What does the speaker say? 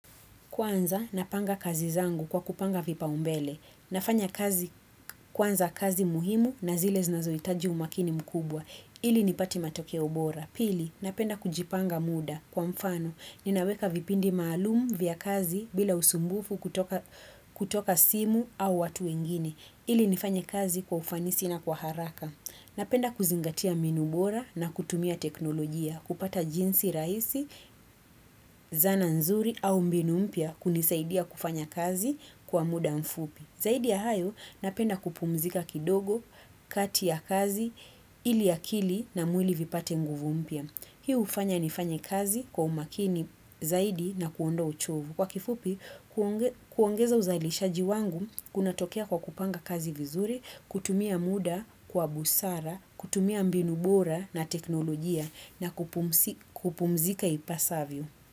Kwanza, napanga kazi zangu kwa kupanga vipau mbele. Nafanya kazi kwanza kazi muhimu na zile znazoitaji umakini mkubwa. Ili nipate matokeo bora. Pili, napenda kujipanga muda kwa mfano. Ninaweka vipindi maalumu vya kazi bila usumbufu kutoka simu au watu wengine. Ili nifanya kazi kwa ufanisi na kwa haraka. Napenda kuzingatia mbinu bora na kutumia teknolojia. Kupata jinsi rahisi, zana nzuri au mbinu mpya kunisaidia kufanya kazi kwa muda mfupi. Zaidi ya hayo napenda kupumzika kidogo, kati ya kazi, ili akili na mwili vipate nguvu mpya. Hi hufanya nifanye kazi kwa umakini zaidi na kuondoa uchovu. Kwa kifupi, kuongeza uzalishaji wangu kunatokea kwa kupanga kazi vizuri, kutumia muda kwa busara, kutumia mbinu bora na teknolojia na kupumzika ipasavyo.